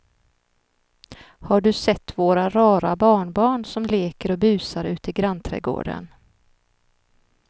Har du sett våra rara barnbarn som leker och busar ute i grannträdgården!